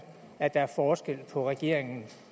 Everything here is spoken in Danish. at der er forskel på regeringen